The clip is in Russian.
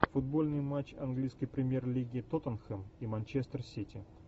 футбольный матч английской премьер лиги тоттенхэм и манчестер сити